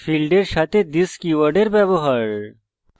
ফীল্ডের সাথে this কীওয়ার্ডের ব্যবহার